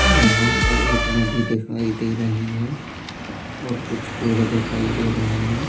यहाँ पर एक नदी दिखाई दे रही है और कुछ पेड़ दिखाई दे रहे है।